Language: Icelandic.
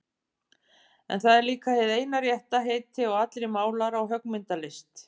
En það er líka hið eina rétta heiti á allri málara- og höggmyndalist.